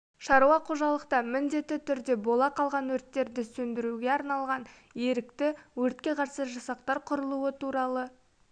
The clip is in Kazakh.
шаруа қожалықта міндетті түрде бола қалған өрттерді сөндіру арналған ерікті өртке қарсы жасақтар құрулуы туралы